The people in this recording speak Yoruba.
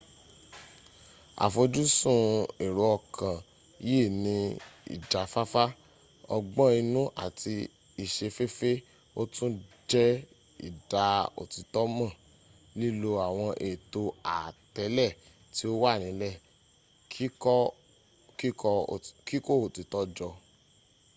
afojusun ero okan yi ni ijafafa ogbon inu ati isefefe o tun je ida otito mo lilo awon eeto aatele ti o wa nile kiko otito jo